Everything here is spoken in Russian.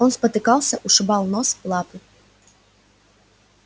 он спотыкался ушибал нос лапы